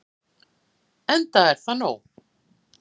Enda er það nóg.